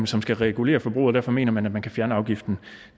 som skal regulere forbruget og derfor mener man at man kan fjerne afgiften